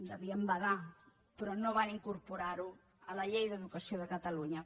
devien badar però no van incorporar ho a la llei d’educació de catalunya